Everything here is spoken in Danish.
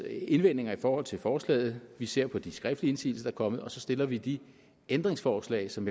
indvendinger i forhold til forslaget vi ser på de skriftlige indsigelser der er kommet og så stiller vi de ændringsforslag som